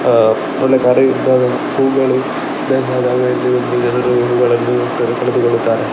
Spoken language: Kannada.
ಆ ಒಳ್ಳೆ ತರದ ಹೂಗಳು ಬೇಕಾದಾಗ ಇಲ್ಲಿ ಬಂದು ಜನರು ಹೂಗಳನ್ನು ಕರೆ ಪಡೆದುಕೊಳ್ಳುತ್ತಾರೆ.